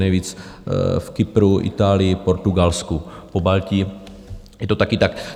Nejvíc v Kypru, Itálii, Portugalsku, v Pobaltí, je to taky tak.